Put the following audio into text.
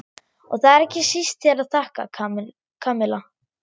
Og það er ekki síst þér að þakka, Kamilla.